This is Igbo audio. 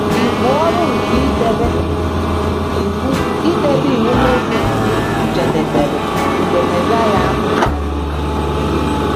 Ibu ọrụ nke idebe Iwu idebe Iwu Mosis jedebere mgbe Mesaịa ahụ nwụrụ.